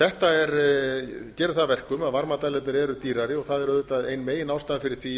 þetta gerir það að verkum að varmadælurnar eru dýrari og það er auðvitað ein meginástæðan fyrir því